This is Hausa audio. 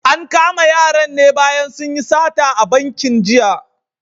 An kama yaran ne bayan sun yi sata a bankin jiya.